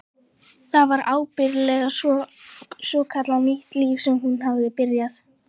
Það var ábyggilega svokallað nýtt líf sem hún hafði byrjað.